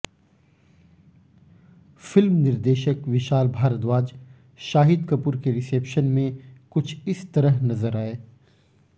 film निर्देशक विशाल भारद्वाज शाहिद कपूर के reception में कुछ इस तरह नज़र आए